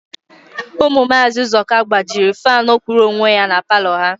Ụmụ Maazị Ụzọka gbajiri faanụ kwụrụ onwe ya na palọ ha